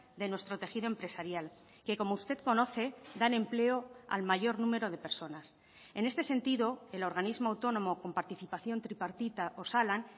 de nuestro tejido empresarial que como usted conoce dan empleo al mayor número de personas en este sentido el organismo autónomo con participación tripartita osalan